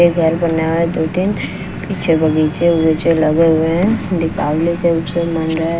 ये घर बना है दो तीन पीछे बगीचे वगीचे लगे हुए हैं दीपावली के उत्सव मन रहे--